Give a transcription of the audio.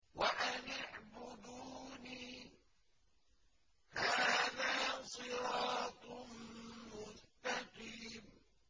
وَأَنِ اعْبُدُونِي ۚ هَٰذَا صِرَاطٌ مُّسْتَقِيمٌ